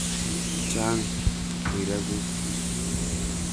Chang' riirekuk